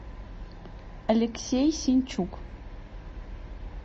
алексей сенчук